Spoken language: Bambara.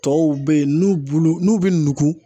Tɔw bɛ yen n'u bulu n'u bi nugu